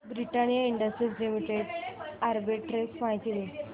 Britannia Industries Limited arbitrage माहिती दे